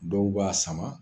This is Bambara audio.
Dɔw b'a sama